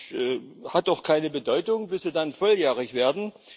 Das hat auch keine Bedeutung, bis Sie dann volljährig werden.